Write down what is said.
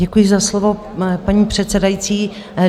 Děkuji za slovo, paní předsedající.